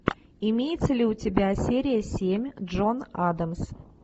имеется ли у тебя серия семь джон адамс